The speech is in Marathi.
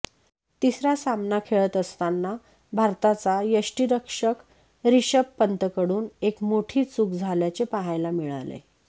तिसरा सामना खेळत असताना भारताचा यष्टीरक्षक रिषभ पंतकडून एक मोठी चुक झाल्याचे पाहायला मिळाले